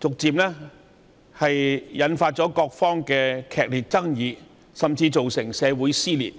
逐漸引發各方的劇烈爭議，甚至造成社會撕裂。